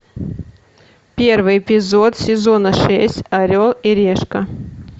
первый эпизод сезона шесть орел и решка